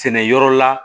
Sɛnɛ yɔrɔ la